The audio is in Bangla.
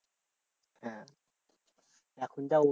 হ্যাঁ এখন যা ওষুধের